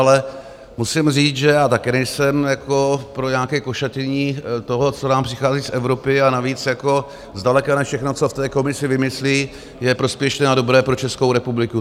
Ale musím říct, že já také nejsem pro nějaké košatění toho, co nám přichází z Evropy, a navíc zdaleka ne všechno, co v té Komisi vymyslí, je prospěšné a dobré pro Českou republiku.